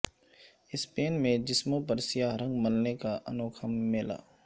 Spain میں جسموں پر سیاہ رنگ ملنے کا انوکھا میلہ